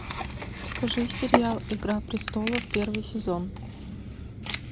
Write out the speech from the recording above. покажи сериал игра престолов первый сезон